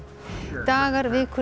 dagar vikur eða